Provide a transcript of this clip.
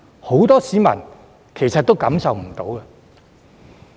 很多市民也未感受到。